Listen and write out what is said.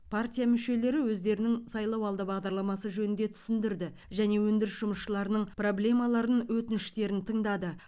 партия мүшелері өздерінің сайлауалды бағдарламасы жөнінде түсіндірді және өндіріс жұмысшыларының проблемаларын өтініштерін тыңдады